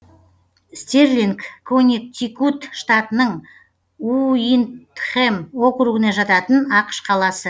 стерлинг коннектикут штатының уиндхэм округіне жататын ақш қаласы